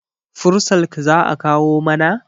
fursalk za a kawo maka?